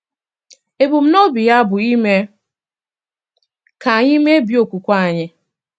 Ebumnobi ya bụ ime ka anyị mebie okwukwe anyị.